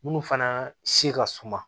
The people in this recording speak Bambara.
Munnu fana se ka suma